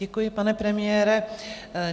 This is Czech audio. Děkuji, pane premiére.